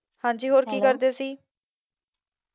ਹੰਜੀ ਹੋਰ ਕੀ ਕਰਦੇ ਸੀ?